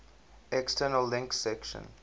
external links section